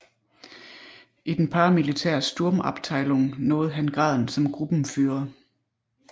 I den paramilitære Sturmabteilung nåede han graden som Gruppenführer